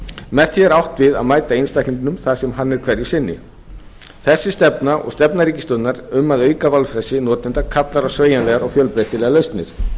með því er átt við að mæta einstaklingnum þar sem hann er hverju sinni þessi stefna og stefna ríkisstjórnar um að auka valfrelsi notenda kallar á sveigjanlegar og fjölbreytilegar lausnir